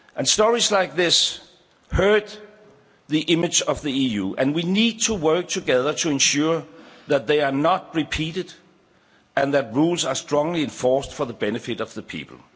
Stories like this hurt the image of the EU and we need to work together to ensure that they are not repeated and that rules are strongly enforced for the benefit of the people.